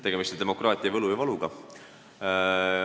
Tegemist on demokraatia võlu ja valuga.